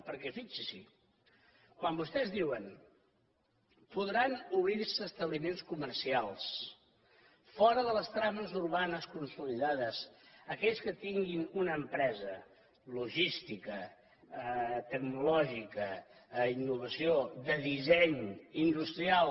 perquè fixin s’hi quan vostès diuen podran obrir establiments comercials fora de les trames urbanes consolidades aquells que tinguin una empresa logística tecnològica d’innovació de disseny industrial